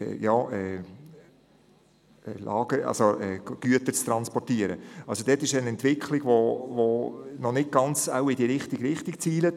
In dieser Hinsicht gibt es eine Entwicklung, die wahrscheinlich noch nicht ganz in die richtige Richtung zielt.